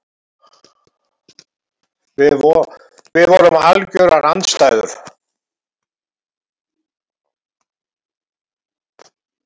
Við vorum algjörar andstæður.